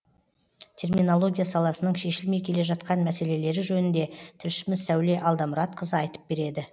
терминология саласының шешілмей келе жатқан мәселелелері жөнінде тілшіміз сәуле алдамұратқызы айтып береді